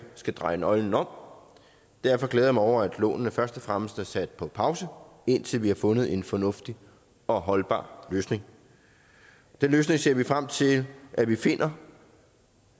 skal dreje nøglen om derfor glæder jeg mig over at lånene først og fremmest er sat på pause indtil vi har fundet en fornuftig og holdbar løsning den løsning ser vi frem til at vi finder